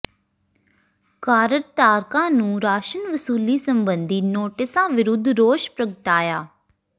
card ਧਾਰਕਾਂ ਨੂੰ ਰਾਸ਼ਨ ਵਸੂਲੀ ਸਬੰਧੀ ਨੋਟਿਸਾਂ ਵਿਰੁੱਧ ਰੋਸ ਪ੍ਰਗਟਾਇਆ